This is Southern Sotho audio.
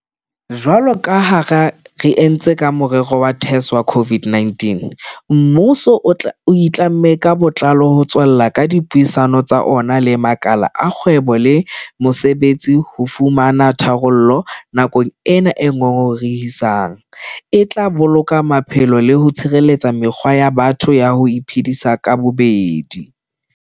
Jwalo ka ha re entse ka morero wa TERS wa COVID-19, mmuso o itlamme ka botlalo ho tswella ka dipuisano tsa ona le makala a kgwebo le mosebetsi ho fumana tharollo nakong ena e ngongorehisang e tla boloka maphelo le ho tshireletsa mekgwa ya batho ya ho iphedisa ka bobedi.